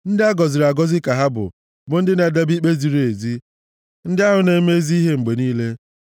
Ndị a gọziri agọzi ka ha bụ, bụ ndị na-edebe ikpe ziri ezi, ndị ahụ na-eme ezi ihe mgbe niile.